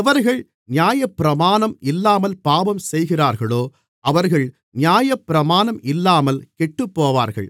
எவர்கள் நியாயப்பிரமாணம் இல்லாமல் பாவம் செய்கிறார்களோ அவர்கள் நியாயப்பிரமாணம் இல்லாமல் கெட்டுப்போவார்கள்